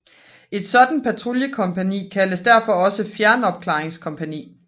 Et sådant patruljekompagni kaldes derfor også fjernopklaringskompagni